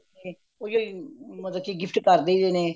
ਉਹੀ ਓ ਮਤਲਬ ਕੀ gift ਕਰ ਦਈਦੇ ਨੇ